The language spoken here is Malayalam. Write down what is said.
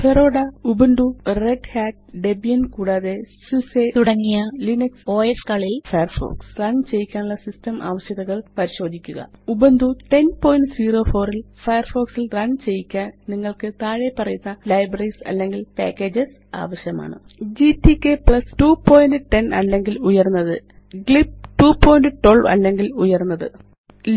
ഫെഡോറ ubuntuറെഡ് hatഡെബിയൻ കൂടാതെ സൂസ് തുടങ്ങിയ ലിനക്സ് OSകളിൽ ഫയർഫോക്സ് റണ് ചെയ്യിക്കാനുള്ള സിസ്റ്റം ആവശ്യകതകള് പരിശോധിക്കുക ഉബുന്റു 1004 ല് ഫയർഫോക്സ് ല് റണ് ചെയ്യിക്കാന് നിങ്ങള്ക്ക് താഴെപ്പറയുന്ന ലൈബ്രറീസ് അല്ലെങ്കില് പാക്കേജസ് ആവശ്യമാണ് GTK 210 അല്ലെങ്കില് ഉയര്ന്നത് ഗ്ലിബ് 212 അല്ലെങ്കില് ഉയര്ന്നത്